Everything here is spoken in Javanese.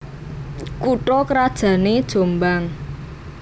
Kutha krajané Jombang